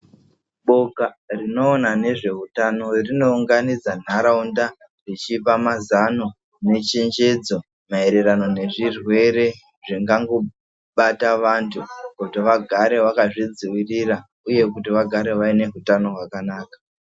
Boka rinoona nezveutano rinounganidza ntaraunda vechipa mazano nechenjedzo maererano nezvirwere zvingangobata vantu kuti vagare vakazvidzivirira, uye kuti vagare vaine hutano hwakanaka.